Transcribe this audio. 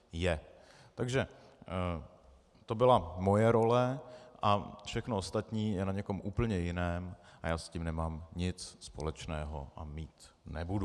Takže to byla moje role a všechno ostatní je na někom úplně jiném a já s tím nemám nic společného a mít nebudu.